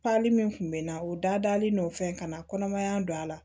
min kun bɛ na u dalen n'o fɛn kana kɔnɔmaya don a la